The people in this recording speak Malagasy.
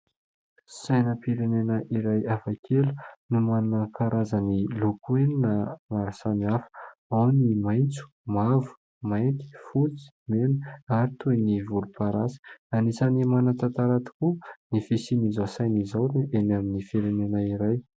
Sainam-pirenena iray hafakely no manana karazany loko enina maro samihafa. Ao ny maintso mavo, mainty, fotsy, mena ary toy ny volomparasy. Anisan'ny manan-tantara tokoa ny fisian'izao saina izao eny amin'ny firenena iray.